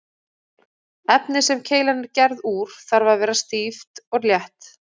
Efnið sem keilan er gerð úr þarf að vera stíft og létt.